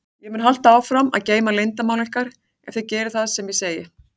Ég mun halda áfram að geyma leyndarmál ykkar ef þið gerið það sem ég segi.